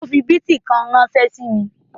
O fi bítíkọ́ìn ránṣẹ́ sí ẹ?